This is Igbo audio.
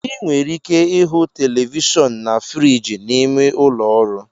Ị nwere ike ịhụ Televishion na friji n'ime ụlọ ọrụ